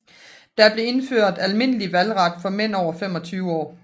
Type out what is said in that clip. Der blev indført almindelige valgret for mænd over 25 år